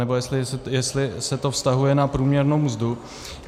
Nebo jestli se to vztahuje na průměrnou mzdu.